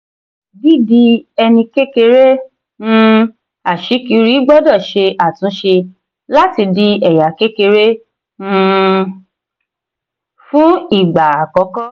dídi ẹni kékeré um aṣíkiri gbọ́dọ̀ ṣe àtúnṣe láti di ẹ̀yà kékeré um fún ìgbà àkọ́kọ́.